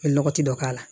U ye lɔgɔti dɔ k'a la